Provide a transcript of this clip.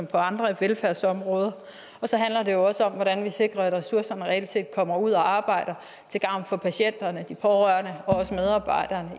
på andre velfærdsområder og så handler det også om hvordan vi sikrer at ressourcerne reelt set kommer ud og arbejder til gavn for patienterne de pårørende